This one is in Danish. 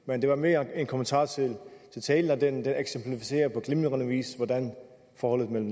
men det var mere en kommentar til talen den eksemplificerer på glimrende vis hvordan forholdet mellem